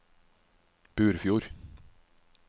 Burfjord